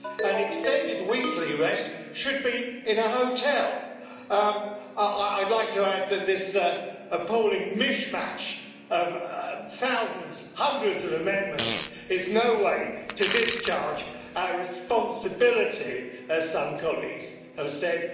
An extended weekly rest should be in a hotel. I'd like to add that this appalling mishmash of thousands, hundreds of amendments, is no way to discharge our responsibility, as some colleagues have said.